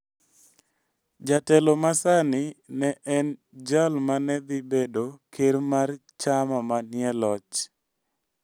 Jatelo masani ne en jal ma ne dhi bedo ker mar chama manie loch.